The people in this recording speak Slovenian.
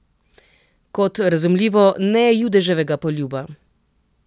Kot, razumljivo, ne Judeževega poljuba.